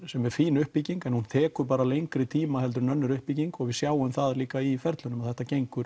sem er fín uppbygging en hún tekur bara lengri tíma heldur en önnur uppbygging og við sjáum það líka í ferlinum að þetta gengur